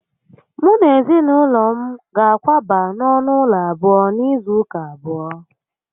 Mu na ezinaulo m ga-akwaba na onu ulo abuo n'izu uka abuo